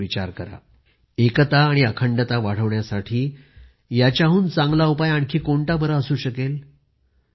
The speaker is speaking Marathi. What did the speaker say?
एकता आणि रोगप्रतिकारक्षमता वाढवण्यासाठी याच्याहुन चांगला उपाय आणखी कोणता असू शकेल